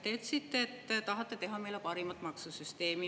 Te ütlesite, et tahate teha meile parimat maksusüsteemi.